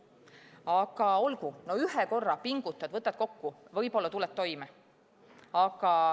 Aga olgu, no ühe korra pingutad, võtad end kokku, võib-olla tuled toime.